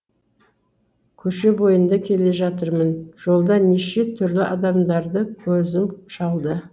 көше бойында келе жатырмын жолда неше түрлі адамдарды көзім шалды